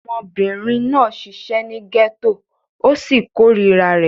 Ọmọbìnrin náà ṣiṣẹ́ ní gẹ́tò ó sì korira rẹ̀.